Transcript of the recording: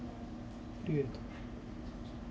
привет